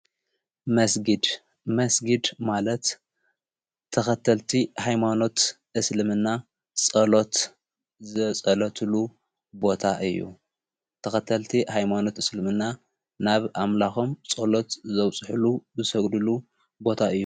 መስጊድ ማለት ተኸተልቲ ኃይማኖት እስልምና ጸሎት ዘጸሎትሉ ቦታ እዩ ተኸተልቲ ኃይማኖት እስልምና ናብ ኣምላኾም ጸሎት ዘውጽሕሉ ብሰግዱሉ ቦታ እዩ።